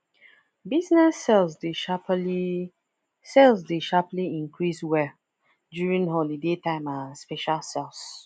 business sales dey sharply sales dey sharply increase well during holiday time and special sales